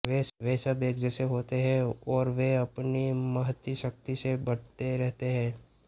वे सब एक जैसे होते हैं और वे अपनी महती शक्ति से बढ़ते रहते हैं